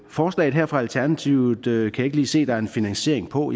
forslaget her fra alternativets side kan jeg ikke lige se der er en finansiering på